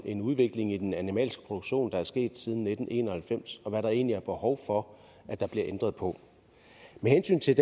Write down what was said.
en udvikling i den animalske produktion der er sket siden nitten en og halvfems og hvad der egentlig er behov for at der bliver ændret på med hensyn til